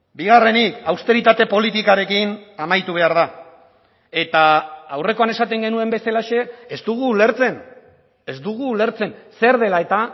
bigarrenik austeritate politikarekin amaitu behar da eta aurrekoan esaten genuen bezalaxe ez dugu ulertzen ez dugu ulertzen zer dela eta